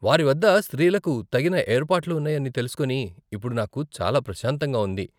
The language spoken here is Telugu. వారి వద్ద స్త్రీలకు తగిన ఏర్పాట్లు ఉన్నాయని తెలుసుకొని ఇప్పుడు నాకు చాలా ప్రశాంతంగా ఉంది.